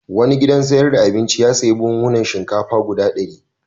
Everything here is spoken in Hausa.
Wani gidan sayar da abinci ya sayi buhunhunan shinkafa guda ɗari.